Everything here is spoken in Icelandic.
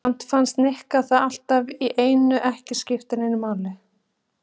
Samt fannst Nikka það allt í einu ekki skipta neinu máli.